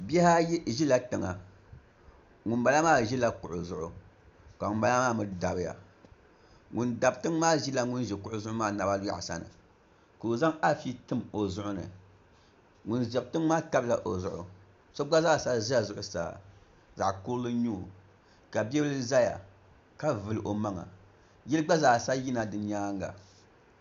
Bihi ayi ʒila tiŋa ŋunbala maa ʒila tiŋa ka ŋunbala maa mii dabiya ŋun dabi tiŋ maa ʒila ŋun ʒi kuɣu zuɣu maa naba yaɣasa ni ka o zaŋ afi tim o zuɣu ni ŋun dabi tiŋ maa tabila o zuɣu so gba zaasa ʒɛ zuɣusaa zaɣ kurili n nyɛo ka bia